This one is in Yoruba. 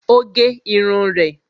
O gé irun rẹ